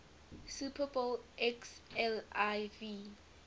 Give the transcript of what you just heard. super bowl xliv